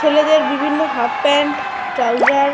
ছেলেদের বিভিন্ন half pant trouser.